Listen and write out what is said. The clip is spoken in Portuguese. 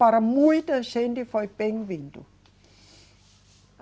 Para muita gente foi bem-vindo.